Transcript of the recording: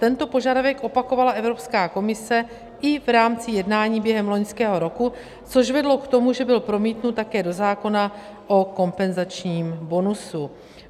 Tento požadavek opakovala Evropská komise i v rámci jednání během loňského roku, což vedlo k tomu, že byl promítnut také do zákona o kompenzačním bonusu.